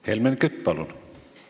Helmen Kütt, palun!